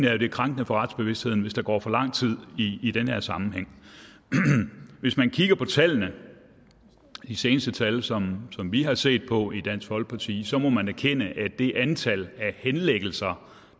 at det er krænkende for retsbevidstheden hvis der går for lang tid i i den sammenhæng hvis man kigger på de seneste tal som vi har set på i dansk folkeparti så må man erkende det antal af henlæggelser